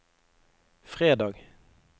fredag